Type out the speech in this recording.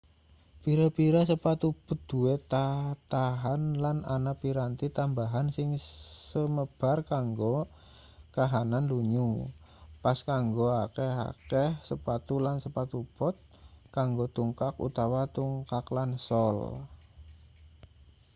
pira-pira sepatu bot duwe tatahan lan ana piranti tambahan sing semebar kanggo kahanan lunyu pas kanggo akeh-akeh sepatu lan sepatu bot kanggo tungkak utawa tungkak lan sol